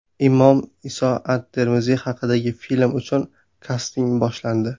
Imom Iso at-Termiziy haqidagi film uchun kasting boshlandi.